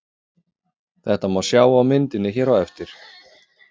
Þetta má sjá á myndinni hér á eftir.